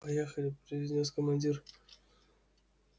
поехали произнёс командир